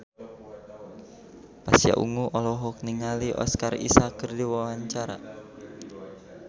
Pasha Ungu olohok ningali Oscar Isaac keur diwawancara